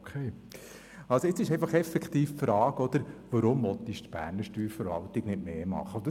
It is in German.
Jetzt stellt sich effektiv die Frage, weshalb die Berner Steuerverwaltung nicht mehr unternehmen will.